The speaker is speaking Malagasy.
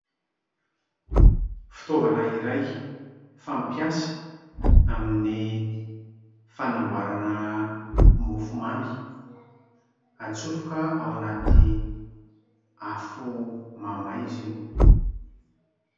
Fitaovana iray fampiasa amin'ny fanamboarana mofomamy, atsofoka ao anaty afo mamay izy io.